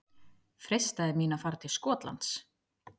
Freistaði mín að fara til Skotlands?